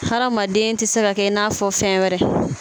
Hadamaden tɛ se ka kɛ i n'a fɔ fɛn wɛrɛ